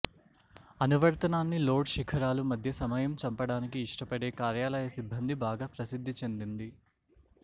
అనువర్తనాన్ని లోడ్ శిఖరాలు మధ్య సమయం చంపడానికి ఇష్టపడే కార్యాలయ సిబ్బంది బాగా ప్రసిద్ధి చెందింది